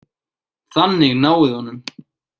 Þannig náið þið honum.